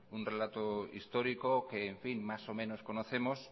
un relato histórico que en fin más o menos conocemos